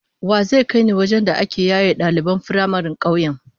Wa zai kai ni wajen da ake yaye daliban firamaren kauyen?